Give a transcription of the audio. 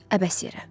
Əbəs yerə.